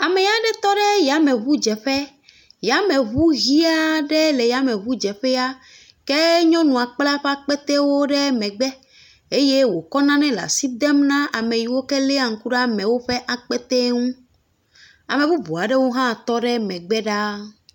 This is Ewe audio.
Ame aɖe tɔ ɖe yameŋudzeƒe, yameŋu ʋe aɖe le yameŋudzeƒea, ke nyɔnua kpla eƒe akpete ɖe megbe eye wòkɔ nanewo kɔ le asi dem na ame siwo léa ŋku ɖe amewo ƒe akpetewo ŋu, ame bubu aɖewo hã tɔ ɖe megbe ɖaa.